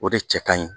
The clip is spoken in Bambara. O de cɛ ka ɲi